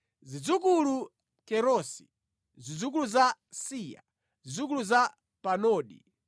Zidzukulu Kerosi, zidzukulu za Siya, zidzukulu za Padoni